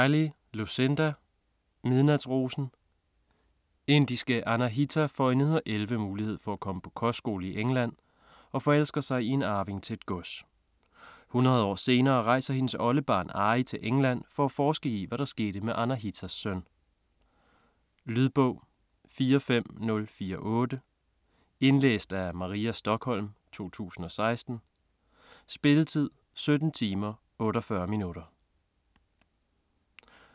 Riley, Lucinda: Midnatsrosen Indiske Anahita får i 1911 mulighed for at komme på kostskole i England og forelsker sig i en arving til et gods. Hundrede år senere rejser hendes oldebarn Ari til England for at forske i hvad der skete med Anahitas søn. Lydbog 45048 Indlæst af Maria Stokholm, 2016. Spilletid: 17 timer, 48 minutter.